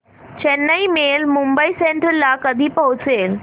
Chennai mail Mumbai central ला कधी पोहचेल